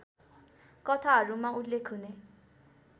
कथाहरूमा उल्लेख हुने